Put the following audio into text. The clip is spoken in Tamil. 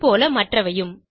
இதுபோல மற்றவையும்